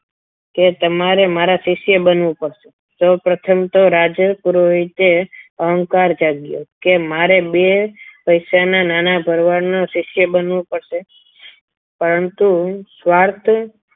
કે તમારે મારા શિષ્ય બનવું પડશે સૌપ્રથમ તો રાજ પુરોહિતે અહંકાર જાગ્યો કે મારે બે પૈસાના નાના ભરવાડના શિષ્ય બનવું પડશે પરંતુ સ્વાર્થ